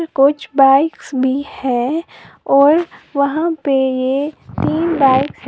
कुछ बाइक्स भी हैं और वहां पे ये तीन बाइक है।